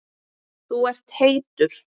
Þú ert heitur.